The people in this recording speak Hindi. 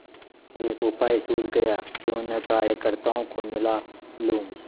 एक उपाय सूझ गयाक्यों न कार्यकर्त्ताओं को मिला लूँ